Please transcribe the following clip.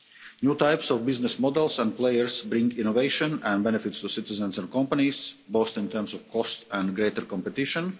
New types of business models and players bring innovation and benefits to citizens and companies, both in terms of cost and greater competition.